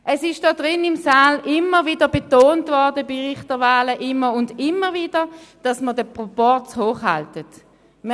Es ist in diesem Saal bei Richterwahlen immer und immer wieder betont worden, dass man den Proporz hochhalten soll.